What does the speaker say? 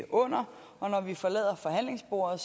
under og når vi forlader forhandlingsbordet